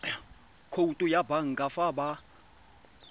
khoutu ya banka fa ba